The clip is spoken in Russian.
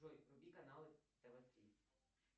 джой вруби каналы тв три